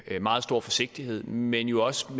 meget stor forsigtighed men jo også på